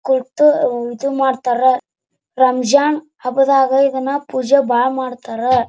ಕೊಟ್ಟು ಹ್ಮ್ ಇದು ಮಾಡ್ತಾರಾ ರಂಜಾನ್ ಹಬ್ಬದಾಗ ಇದನ್ನು ಭಾಳ ಪೂಜೆ ಮಾಡ್ತಾರಾ.